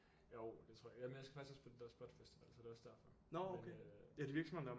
Jo det tror jeg jamen jeg skal faktisk også på den der spotfestival så det er også derfor men øh